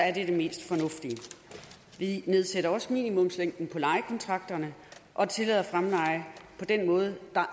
er det det mest fornuftige vi nedsætter også minimumslængden på lejekontrakterne og tillader fremleje på den måde